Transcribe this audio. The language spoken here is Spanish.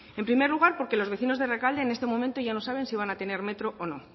en primer lugar porque los vecinos de rekalde en este momento ya no saben si van a tener metro o no